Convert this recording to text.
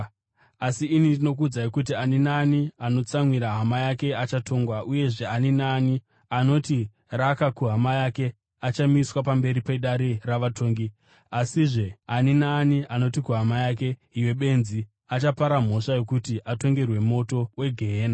Asi ini ndinokuudzai kuti ani naani anotsamwira hama yake achatongwa. Uyezve ani naani anoti, ‘Raka’ kuhama yake achamiswa pamberi pedare ravatongi. Asizve ani naani anoti kuhama yake, ‘Iwe benzi!’ achapara mhosva yokuti atongerwe moto wegehena.